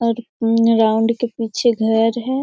और इन राउंड के पीछे घर है।